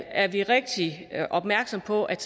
er vi rigtig opmærksomme på at